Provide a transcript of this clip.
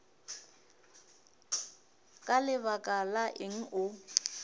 ka lebaka la eng o